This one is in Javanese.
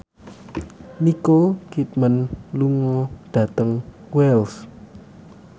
Nicole Kidman lunga dhateng Wells